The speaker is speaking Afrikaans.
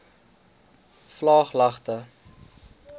vlaaglagte